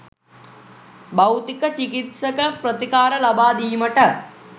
භෞතික චිකිත්සක ප්‍රතිකාර ලබා දීමට